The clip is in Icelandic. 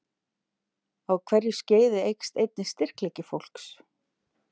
Á hverju skeiði eykst einnig styrkleiki fólks.